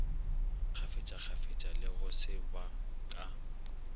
kgafetšakgafetša le go seba ka